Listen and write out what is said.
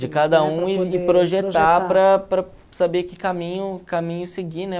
De cada um e e projetar para para saber que caminho caminho seguir, né?